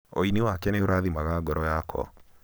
ũini wake nĩurathimaga ngoro yakwa.